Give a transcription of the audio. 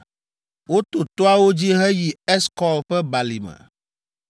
Woto toawo dzi heyi Eskɔl ƒe balime.